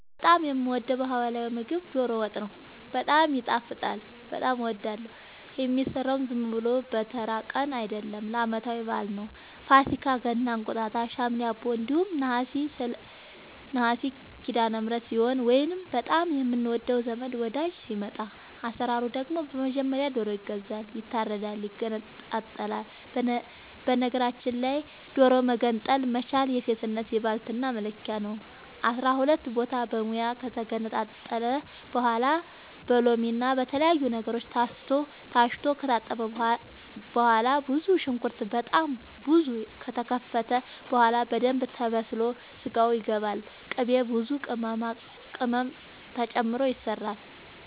እኔ በጣም የምወደው በህላዊ ምግብ ዶሮ ወጥ ነው። በጣም ይጣፍጣል በጣም አወዳለሁ። የሚሰራውም ዝም ብሎ በተራ ቀን አይደለም ለአመታዊ በአል ነው። ፋሲካ ገና እንቁጣጣሽ ሀምሌ አቦ እንዲሁም ነሀሴ ሲዳለምህረት ሲሆን ወይንም በጣም የምንወደው ዘመድ ወዳጅ ሲመጣ። አሰራሩ ደግሞ በመጀመሪያ ዶሮ ይገዛል ይታረዳል ይገነጣጠላል በነገራችል ላይ ዶሮ መገንጠል መቻል የሴትነት የባልትና መለኪያ ነው። አስራሁለት ቦታ በሙያ ከተገነጣጠለ በኋላ በሎምና በተለያዩ ነገሮች ታስቶ ከታጠበ በኋላ ብዙ ሽንኩርት በጣም ብዙ ከተከተፈ በኋላ በደንብ ተበስሎ ስጋው ይገባል ቅቤ ብዙ ቅመማ ቅመም ተጨምሮ ይሰራል